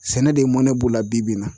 Sɛnɛ de mɔnɛ b'olu la bi bi in na